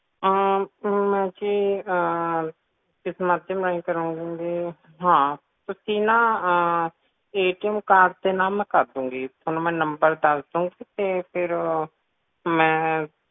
ਅਮ ਥੋਨੂੰ ਮੈਂ ਜੀ ਕਿਸ ਮਾਧਿਅਮ ਰਾਹੀਂ ਕਰੂੰਗੀ ਤੁਸੀ ਨਾ ਤੋਂ ਨਾ card ਮੈਂ ਤੁਹਾਨੂੰ ਕਰ ਦੂੰਗੀ ਥੋਨੂੰ ਮੈਂ ਨੰਬਰ ਦੱਸ ਦੂੰਗੀ ਤੇ ਫੇਰ ਮੈਂ